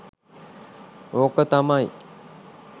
ඕක තමයි.